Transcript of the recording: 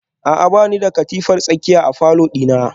A'a bani da katifar tsakiya a falor dina